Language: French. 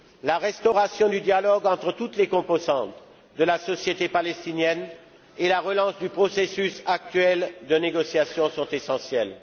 La restauration du dialogue entre toutes les composantes de la société palestinienne et la relance du processus actuel de négociation sont essentielles.